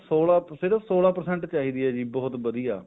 ਸੋਲਾਂ ਸਿਰਫ ਸੋਲਾਂ percent ਚਾਹੀਦੀ ਹੈ ਜੀ ਹੁਟ ਵਧੀਆ